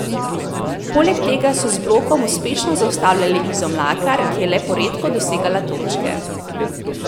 Poleg tega so z blokom uspešno zaustavljale Izo Mlakar, ki je le poredko dosegala točke.